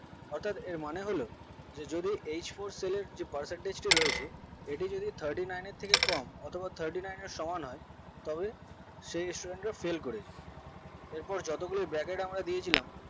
অর্থাৎ এর মানে হলো যদি h for cell এর যে percentage টি রয়েছে এটি যদি thirty nine এর কম অথবা thirty nine এর সমান হয় তবে সেই student টি fail করেছে ওপরে যত গুলো bracket আমরা দিয়েছিলাম